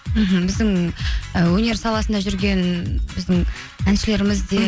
мхм біздің і өнер саласында жүрген біздің әншілеріміз де